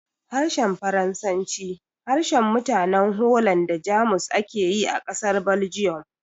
Harshen Faransanci, harshen mutanen Holland da Jamus ake yi a ƙasar Belgium